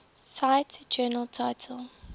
cite journal title